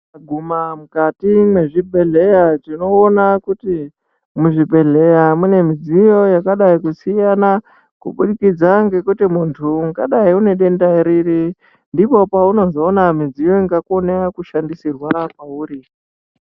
Kuguma mukati mwezvibhehleya tinoona kuti muzvibhedhleya mune midziyo yakadai kusiyana kubudikidza ngekuti muntu ungadai unedenda riri. Ndipo paunozoona midziyo ingakona kushandisirwa pauri.